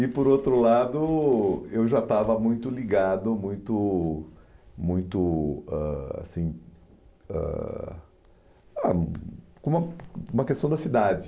E, por outro lado, eu já estava muito ligado, muito muito , assim ah a com uma com a questão da cidade.